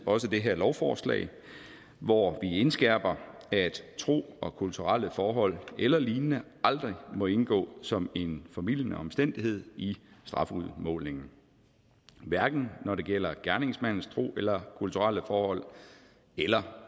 også det her lovforslag hvor vi indskærper at tro og kulturelle forhold eller lignende aldrig må indgå som en formildende omstændighed i strafudmålingen hverken når det gælder gerningsmandens tro eller kulturelle forhold eller